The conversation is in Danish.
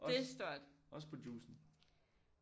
Også også på juicen